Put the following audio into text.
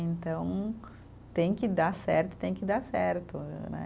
Então, tem que dar certo, tem que dar certo, né?